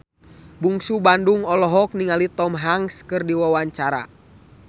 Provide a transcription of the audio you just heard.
Bungsu Bandung olohok ningali Tom Hanks keur diwawancara